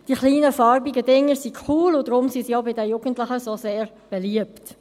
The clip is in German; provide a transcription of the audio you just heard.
Die kleinen, farbigen Dinger sind cool, und deshalb sind sie auch bei den Jugendlichen so sehr beliebt.